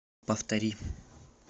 повтори